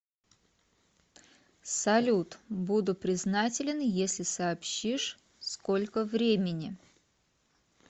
салют буду признателен если сообщишь сколько времени